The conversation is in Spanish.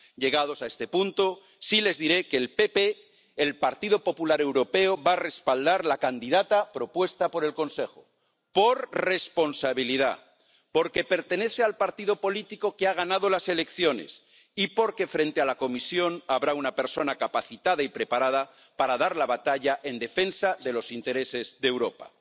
Llegados a este punto, sí les diré que el Partido Popular Europeo va a respaldar a la candidata propuesta por el Consejo, por responsabilidad, porque pertenece al partido político que ha ganado las elecciones y porque al frente de la Comisión habrá una persona capacitada y preparada para dar la batalla en defensa de los intereses de Europa.